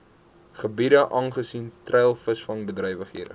gebiede aangesien treilvisvangbedrywighede